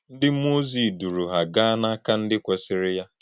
Ndị mmụọ ozi duru ha gaa n’aka ndị kwesịrị ya.